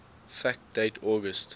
fact date august